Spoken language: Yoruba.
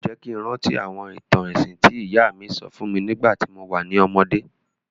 O jẹ́ ki n rántí àwọn ìtàn ẹ̀sìn ti ìyá mi sọ fún mi nígbàtí mo wa ni ọmọdé.